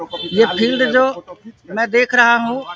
ये फील्ड जो मैं देख रहा हूँ।